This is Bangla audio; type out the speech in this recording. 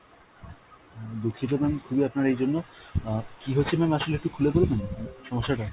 উম দুঃখিত ma'am খুবই আপনার এই জন্য, অ্যাঁ কী হয়েছে ma'am আসলে একটু খুলে বলবেন সমস্যাটা?